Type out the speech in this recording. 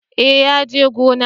Eh ya je gona